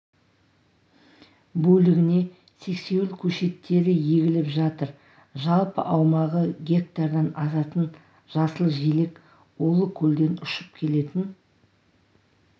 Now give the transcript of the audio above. бөлігіне сексеуіл көшеттері егіліп жатыр жалпы аумағы гектардан асатын жасыл желек улы көлден ұшып келетін